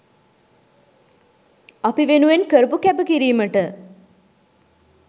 අපි වෙනුවෙන් කරපු කැපකිරීමට